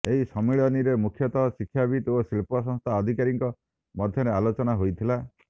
ଏହି ସମ୍ମିଳନୀରେ ମୁଖ୍ୟତଃ ଶିକ୍ଷାବିତ ଓ ଶିଳ୍ପ ସଂସ୍ଥା ଅଧିକାରୀଙ୍କ ମଧ୍ୟରେ ଆଲୋଚନା ହୋଇଥିଲା